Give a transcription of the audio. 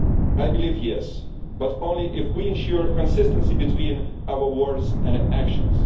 I believe, yes, but only if we ensure consistency between our words and actions.